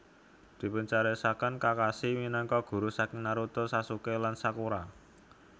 Dipuncariyosaken Kakashi minangka guru saking Naruto Sasuke lan Sakura